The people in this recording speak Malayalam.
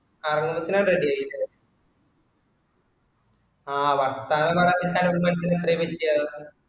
ആ മൂത്തല് ready ആയ്ക്കോ ആ വർത്താനം പറയാൻ